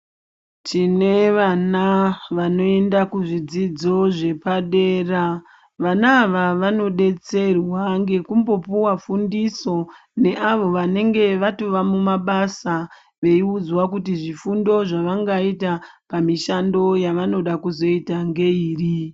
Tine vana vanoinda kuzvidzidzo zvepadera .Vana avavanodetserwa ngekumbopiwa fundiso neavo vanenge vatova mumabasa veiudzwa kuti zvifundo zvavanga ita pamishando yavanoda kuzoita ngeiri.